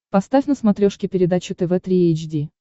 поставь на смотрешке передачу тв три эйч ди